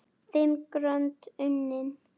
Fimm grönd unnin!